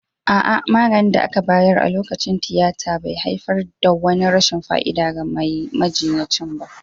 A'a, maganin da aka bayar a lokacin tiyata bai haifar da wani rashin fa'ida ga ma majinyacin.